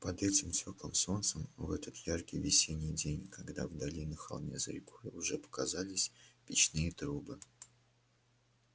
под этим тёплым солнцем в этот яркий весенний день когда вдали на холме за рекой уже показались печные трубы